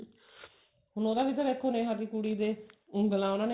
ਹੁਣ ਉਹਦਾ ਤਾਂ ਵੀ ਦੇਖੋ ਨੇਹਾ ਦੀ ਕੁੜੀ ਦੇ ਉਂਗਲਾ ਉਹਨਾਂ ਨੇ